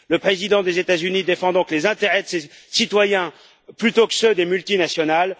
Le président des États Unis défend donc les intérêts de ses citoyens plutôt que ceux des multinationales.